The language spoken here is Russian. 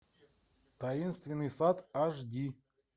таинственный сад аш ди